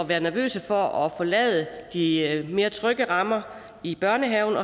være nervøse for at forlade de mere trygge rammer i børnehaven